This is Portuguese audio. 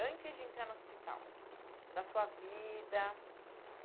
Antes de entrar no hospital, da sua vida?